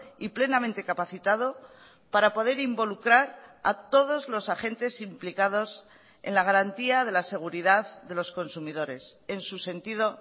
y plenamente capacitado para poder involucrar a todos los agentes implicados en la garantía de la seguridad de los consumidores en su sentido